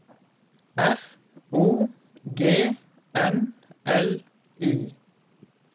R O G N L I